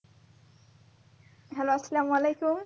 Hello অসাল্লাম আলাইকুম।